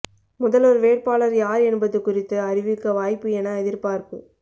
முதல்வர் வேட்பாளர் யார் என்பது குறித்து அறிவிக்க வாய்ப்பு என எதிர்பார்ப்பு